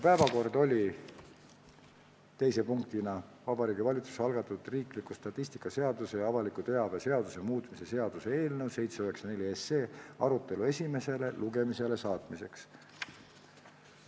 Päevakorras oli teise punktina Vabariigi Valitsuse algatatud riikliku statistika seaduse ja avaliku teabe seaduse muutmise seaduse eelnõu 794 arutelu esimesele lugemisele saatmiseks.